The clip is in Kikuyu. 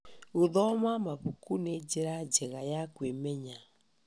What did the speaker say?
Gũthoma mabuku nĩ njĩra njega ya kwĩmenya.